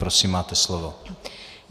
Prosím, máte slovo.